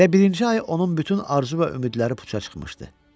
Elə birinci ay onun bütün arzu və ümidləri puça çıxmışdı.